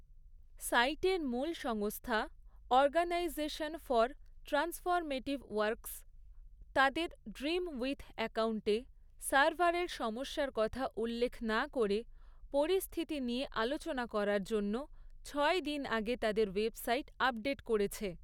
সাইটের মূল সংস্থা, অর্গানাইজেশন ফর ট্রান্সফরমেটিভ ওয়ার্কস, তাদের ড্রিমউইথ অ্যাকাউন্টে সার্ভারের সমস্যার কথা উল্লেখ না করে, পরিস্থিতি নিয়ে আলোচনা করার জন্য ছয় দিন আগে তাদের ওয়েবসাইট আপডেট করেছে।